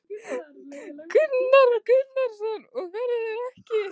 Oddur Ástráðsson: Og verður ekki?